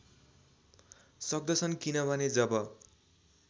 सक्दछन् किनभने जब